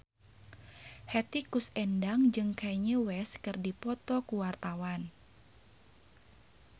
Hetty Koes Endang jeung Kanye West keur dipoto ku wartawan